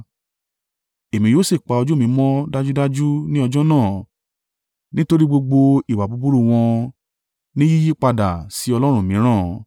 Èmi yóò sì pa ojú mi mọ́ dájúdájú ní ọjọ́ náà nítorí i gbogbo ìwà búburú wọn ní yíyípadà sí ọlọ́run mìíràn.